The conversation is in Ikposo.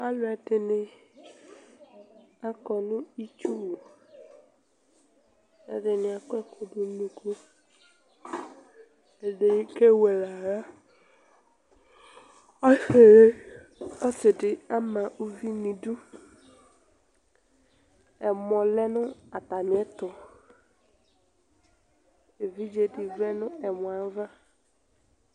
aluɛdɩnɩ akɔ nʊ itsuwu, ɛdɩnɩ akɔ ɛkudʊ nu unuku, ɛdɩnɩ kewele aɣla, ɔsidɩ ama uvi nu idu ɛmɔ lɛ nu atamiɛtʊ, evidzedɩ vlɛ nʊ ɛmɔ yɛ ava